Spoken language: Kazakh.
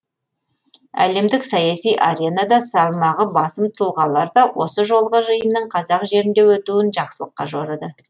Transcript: әлемдік саяси аренада салмағы басым тұлғалар да осы жолғы жиынның қазақ жерінде өтуін жақсылыққа жорыды